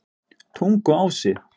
Tunguási